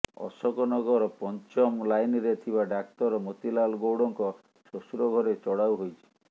ଅଶୋକ ନଗର ପଂଚମ ଲାଇନରେ ଥିବା ଡାକ୍ତର ମୋତିଲାଲ ଗୌଡଙ୍କ ଶ୍ୱଶୁର ଘରେ ଚଢାଉ ହୋଇଛି